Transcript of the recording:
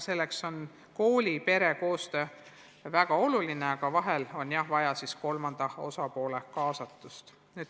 Selleks on koolipere koostöö väga oluline, aga vahel on jah vaja ka kolmanda osapoole kaasatust.